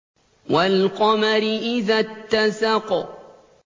وَالْقَمَرِ إِذَا اتَّسَقَ